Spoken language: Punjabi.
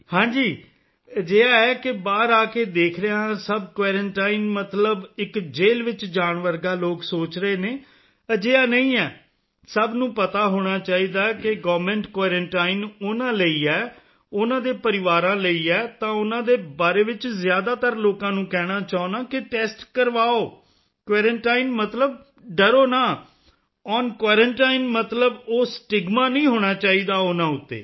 ਹਾਂ ਜੀ ਅਜਿਹਾ ਹੈ ਕਿ ਬਾਹਰ ਆ ਕੇ ਦੇਖ ਰਿਹਾ ਹਾਂ ਸਭ ਕੁਆਰੰਟਾਈਨ ਮਤਲਬ ਇੱਕ ਜੈਲ ਵਿੱਚ ਜਾਣ ਵਰਗਾ ਲੋਕ ਸੋਚ ਰਹੇ ਨੇ ਅਜਿਹਾ ਨਹੀਂ ਹੈ ਸਭ ਨੂੰ ਪਤਾ ਹੋਣਾ ਚਾਹੀਦਾ ਹੈ ਕਿ ਗਵਰਨਮੈਂਟ ਕੁਆਰੰਟਾਈਨ ਉਨ੍ਹਾਂ ਲਈ ਹੈ ਉਨ੍ਹਾਂ ਦੇ ਪਰਿਵਾਰਾਂ ਲਈ ਹੈ ਤਾਂ ਉਨ੍ਹਾਂ ਦੇ ਬਾਰੇ ਵਿੱਚ ਜ਼ਿਆਦਾਤਰ ਲੋਕਾਂ ਨੂੰ ਕਹਿਣਾ ਚਾਹੁੰਦਾ ਹਾਂ ਕਿ ਟੈਸਟ ਕਰਵਾਓ ਕੁਆਰੰਟਾਈਨ ਮਤਲਬ ਡਰੋ ਨਾ ਓਨ ਕੁਆਰੰਟਾਈਨ ਮਤਲਬ ਉਹ ਸਟਿਗਮਾ ਨਹੀਂ ਹੋਣਾ ਚਾਹੀਦਾ ਉਨ੍ਹਾਂ ਉੱਤੇ